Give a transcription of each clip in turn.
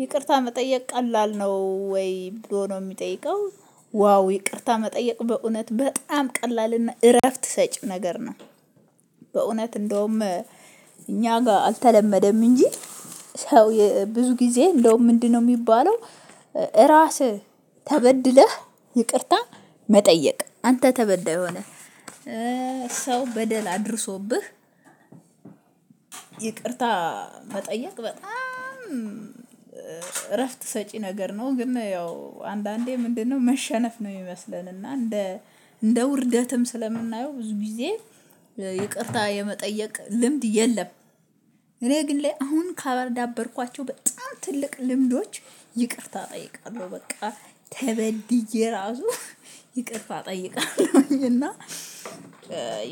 ይቅርታ መጠየቅ ቀላል ነው ወይ ብሎ ነው የሚጠይቀው ዋው ይቅርታ መጠየቅ በእውነት በጣም ቀላልና እረፍት ሰጪ ነገር ነው። በእውነት እንደውም እኛ ጋር አልተለመደም እንጂ ሰው ብዙ ጊዜ እንደውም ምንድነው የሚባለው ራስህ ተበድለህ ይቅርታ መጠየቅ አንተ ተበደይ ሆነህ ሰው በደል አድርሶብህ ይቅርታ መጠየቅ በጣም እረፍት ሰጪ ነገር ነው ግን ያው አንዳንዴ ምንድነው መሸነፍ ነው የሚመስለን እና እንደ እንደ ውርደትም ስለምናየው ብዙ ጊዜ ይቅርታ የመጠየቅ ልምድ የለም። እኔ ግን ላይ አሁን ካዳበርኳቸው በጣም ትልቅ ልምዶች ይቅርታ እጠይቃለሁ በቃ ተበድዬ ራሱ ይቅርታ እጠይቃለሁኝ። እና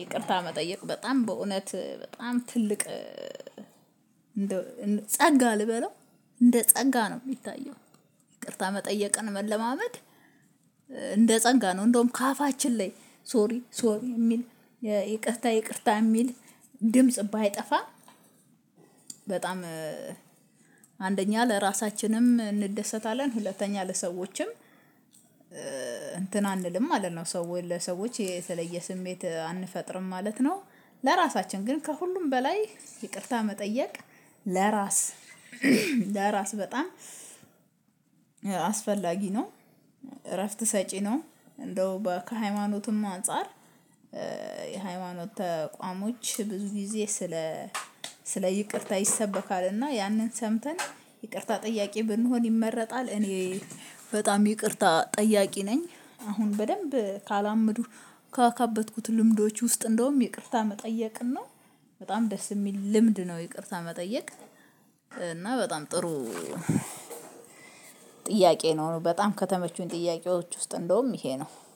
ይቅርታ መጠየቅ በጣም በእውነት በጣም ትልቅ ጸጋ ልበለው እንደ ጸጋ ነው የሚታየው። ይቅርታ መጠየቅን መለማመድ እንደ ጸጋ ነው እንደውም ከአፋችን ላይ ሶሪ ሶሪ የሚል ይቅርታ ይቅርታ የሚል ድምጽ ባይጠፋ በጣም አንደኛ ለራሳችንም እንደሰታለን ሁለተኛ ለሰዎችም እንትን አንልም ማለት ነው። ሰው ወይ ለሰዎች የተለየ ስሜት አንፈጥርም ማለት ነው። ለራሳችን ግን ከሁሉም በላይ ይቅርታ መጠየቅ ለራስ በጣም አስፈላጊ ነው። እረፍት ሰጪ ነው። እንደው ከሃይማኖትም አንፃር የሃይማኖት ተቋሞች ብዙ ጊዜ ስለ ስለ ይቅርታ ይሰበካል እና ያንን ሰምተን ይቅርታ ጠያቅ ብንሆን ይመረጣል። እኔ በጣም ይቅርታ ጠያቂ ነኝ። አሁን በደንብ ካላመዱ ካከበትኩት ልምዶች ውስጥ እንደውም ይቅርታ መጠየቅን ነው በጣም ደስ የሚል ልምድ ነው ይቅርታ መጠየቅ። እና በጣም ጥሩ ጥያቄ ነው በጣም ከተመቹኝ ጥያቄዎች ውስጥ እንደውም ይሄ ነው